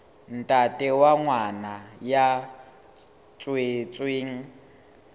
ntate wa ngwana ya tswetsweng